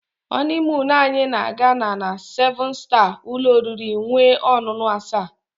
honeymoon anyị na-aga na-na seven star ụlọ oriri nwee ọṅụṅụ asa.